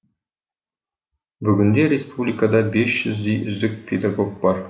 бүгінде республикада бес жүздей үздік педагог бар